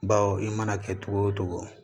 Bawo i mana kɛ cogo o cogo